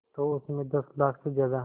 तो उस में दस लाख से ज़्यादा